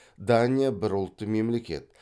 дания бір ұлтты мемлекет